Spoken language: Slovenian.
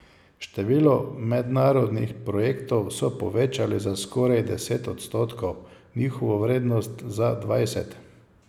Število mednarodnih projektov so povečali za skoraj deset odstotkov, njihovo vrednost za dvajset.